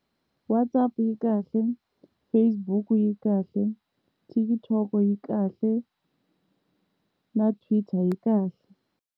WhatsApp yi kahle, Facebook yi kahle, TikTok yi kahle, na Twitter yi kahle.